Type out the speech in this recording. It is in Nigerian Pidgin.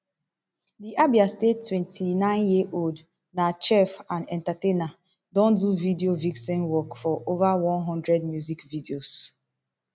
di abia state twenty-nineyearold na chef and entertainer don do video vixen work for ova one hundred music videos